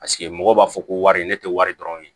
Paseke mɔgɔw b'a fɔ ko wari ne tɛ wari dɔrɔn ye